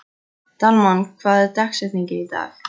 Dalmann, hver er dagsetningin í dag?